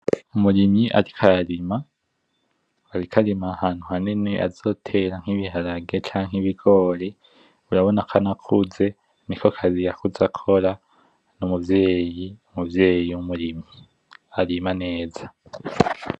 Umurimyi ariko ararima ariko arima ahantu hanini azotera nk'ibiharage canke ibigori urabonako anakuze nikokazi Yakuze akora n'umuvyeyi, umuvyeyi wumurimyi arima neza.